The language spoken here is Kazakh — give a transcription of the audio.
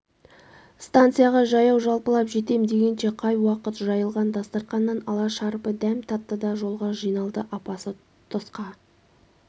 станцияға жаяу-жалпылап жетем дегенше қай уақыт жайылған дастарқаннан шала-шарпы дәм татты да жолға жиналды апасы тысқа